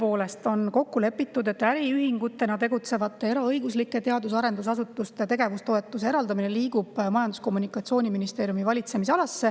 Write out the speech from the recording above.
Tõepoolest on kokku lepitud, et äriühingutena tegutsevatele eraõiguslikele teadus‑ ja arendusasutustele tegevustoetuse eraldamine liigub Majandus‑ ja Kommunikatsiooniministeeriumi valitsemisalasse.